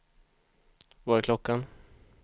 Vad är klockan